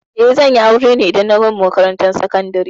Eh, zan yi aure ne idan na gama makarantar sakandari.